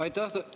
Aitäh!